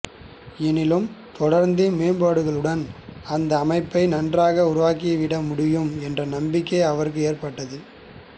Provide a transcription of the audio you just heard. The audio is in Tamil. எனினும் தொடர்ந்த மேம்பாடுகளுடன் அந்த அமைப்பை நன்றாக உருவாக்கிவிட முடியும் என்ற நம்பிக்கை அவர்களுக்கு ஏற்பட்டது